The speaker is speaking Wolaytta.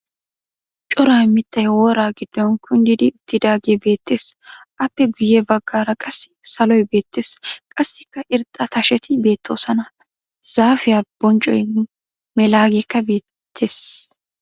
Cora mittay wora giddon kunddi uttiidaagee beettes. Aappe guyye baggaara qassi saloy beettes. Qassikka irxxa tasheti beettoosona. Zaafiya bonccoy melaageekka beettes.